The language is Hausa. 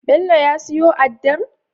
Bello ya siyo addar